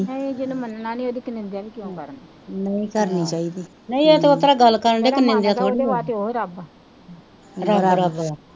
ਨਹੀਂ ਜਿਹਨੂੰ ਮੰਨਣਾ ਨਹੀਂ ਉਹਦੀ ਫੇਰ ਨਿੰਦਿਆ ਵੀ ਕਿਉਂ ਕਰਨੀ